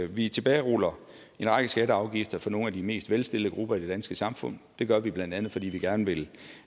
vi tilbageruller en række skatter og afgifter for nogle af de mest velstillede grupper i det danske samfund det gør vi blandt andet fordi vi gerne vil